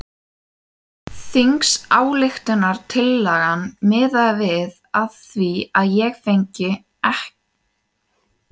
Þingsályktunartillagan miðaði að því að ég fengi bætur ekki styrk!